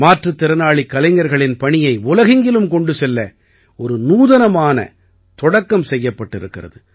மாற்றுத் திறனாளிக் கலைஞர்களின் பணியை உலகெங்கிலும் கொண்டு செல்ல ஒரு நூதனமான தொடக்கம் செய்யப்பட்டிருக்கிறது